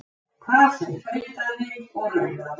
Hvað sem tautaði og raulaði.